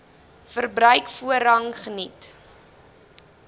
verbruik voorrang geniet